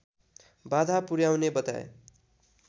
बाधा पुर्‍याउने बताए